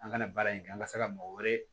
An kana baara in kɛ an ka se ka mɔgɔ wɛrɛ